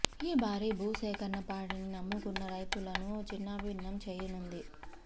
ఈ భారీ భూ సేకరణ పాడిని నమ్ముకున్న రైతులను చిన్నాభిన్నం చేయనుంది